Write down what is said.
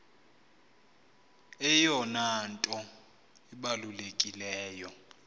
eyona nto ibalulekileyo